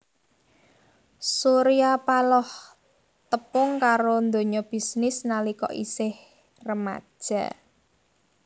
Surya Paloh tepung karo donya bisnis nalika isih remaja